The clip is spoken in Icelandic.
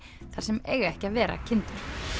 þar sem eiga ekki að vera kindur